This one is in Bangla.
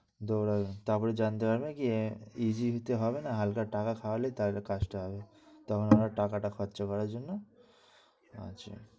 দোঁড়াই তারপর জানতে পারবে গিয়ে নিতে হবে না, হালকা টাকা খাওয়ালে তাহলে কাজটা হবে। তখন ওরা টাকাটা খরচে করার জন্যে, আচ্ছা